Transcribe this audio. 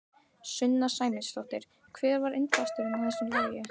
Sunna Sæmundsdóttir: Hver var innblásturinn að þessu lagi?